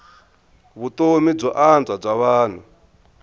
vutomi byo antswa bya vanhu